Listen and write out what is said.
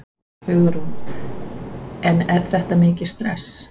Hugrún: En er þetta mikið stress?